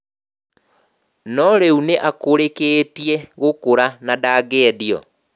No rĩu nĩ akũrĩkĩtie gũkũra na ndangĩendio.